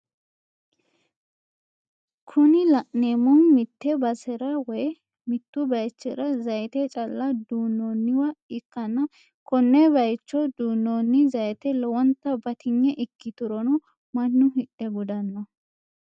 Kuni la'neemohu mitte basera woyi mittu bayiichira zayiite calla duunnonniwa ikkanna kone bayiicho duunonni zayiite lowonta batinye ikiturono mannu hidhe gudanno.